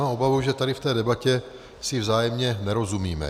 Mám obavu, že tady v té debatě si vzájemně nerozumíme.